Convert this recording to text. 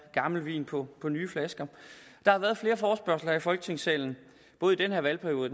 gammel vin på nye flasker der har været flere forespørgsler her i folketingssalen både i denne valgperiode